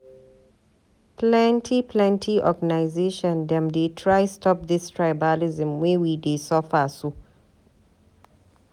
Plenty plenty organisation dem dey try stop dis tribalism wey we dey suffer so.